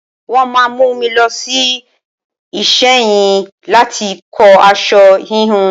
Wọ́n máa mú mi lọ sí Ìsẹ́yìn láti kọ aṣọ híhun.